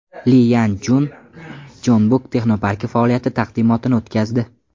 Li Yan Chun Jeonbuk texnoparki faoliyati taqdimotini o‘tkazdi.